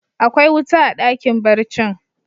Akwai wuta a dakin barcin?